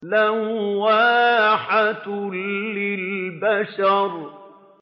لَوَّاحَةٌ لِّلْبَشَرِ